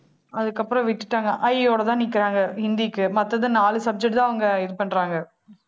அதுக்கப்புறம் விட்டுட்டாங்க, அ ஆ இ ஈயோடதான் நிக்கிறாங்க ஹிந்திக்கு. மத்தது நாலு subject தான் அவங்க இது பண்றாங்க